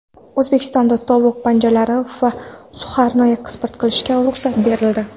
O‘zbekistonda tovuq panjalari va suxarini eksport qilishga ruxsat berildi.